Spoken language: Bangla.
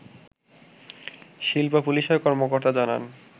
শিল্প পুলিশের কর্মকর্তা জানান